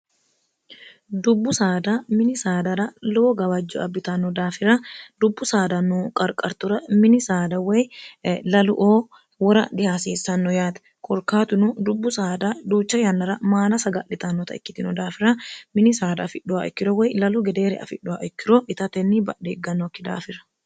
dubbu saada mini saadara lowo gawajjo abbitanno daafira dubbu saada noo qarqartura mini saada woy lalu oo wora dihaasiissanno yaati korkaatuno dubbu saada duucha yannara maana saga'litannota ikkitino daafira mini saada afidhuwa ikkiro woy lalu gedeere afidhuwa ikkiro ita tenni badhe iggannookki daafira